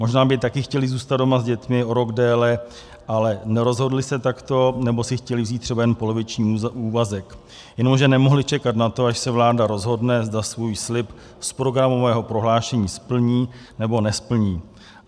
Možná by taky chtěli zůstat doma s dětmi o rok déle, ale nerozhodli se takto, nebo si chtěli vzít třeba jen poloviční úvazek, jenomže nemohli čekat na to, až se vláda rozhodne, zda svůj slib z programového prohlášení splní, nebo nesplní.